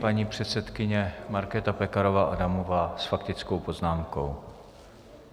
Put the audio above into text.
Paní předsedkyně Markéta Pekarová Adamová s faktickou poznámkou.